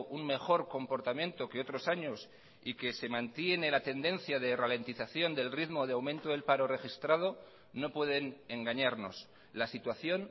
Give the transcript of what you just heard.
un mejor comportamiento que otros años y que se mantiene la tendencia de ralentización del ritmo de aumento del paro registrado no pueden engañarnos la situación